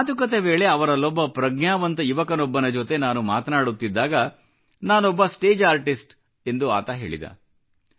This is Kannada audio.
ಮಾತುಕತೆ ವೇಳೆ ಅವರಲ್ಲೊಬ್ಬ ಪ್ರಜ್ಞಾವಂತ ಯುವಕನೊಬ್ಬನ ಜೊತೆ ನಾನು ಮಾತನಾಡುತ್ತಿದ್ದಾಗ ನಾನೊಬ್ಬ ಸ್ಟೇಜ್ ಆರ್ಟಿಸ್ಟ್ ಎಂದು ಆತ ಹೇಳಿದ